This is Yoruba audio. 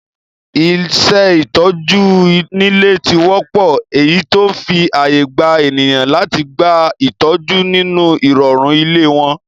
Iṣẹ́ ìtọ́jú nílé ti wọ́pọ́, eyí tó ń fi ààyè gba ènìyàn láti gba ìtọ́jú nínú ìrọ̀rùn ilé wọn.